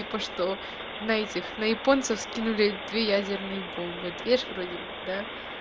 типа что на этих на японцев скинули две ядерные бомбы дверь вроде бы да